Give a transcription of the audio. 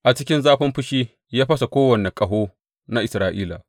A cikin zafin fushi ya fasa kowane ƙaho na Isra’ila.